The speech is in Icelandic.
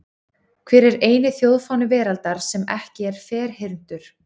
Hver er eini þjóðfáni veraldar sem er ekki ferhyrndur?